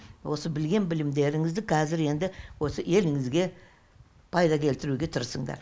осы білген білімдеріңізді кәзір енді осы еліңізге пайда келтіруге тырысыңдар